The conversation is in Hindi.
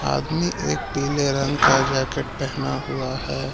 आदमी एक पीले रंग का जैकेट पहना हुआ है।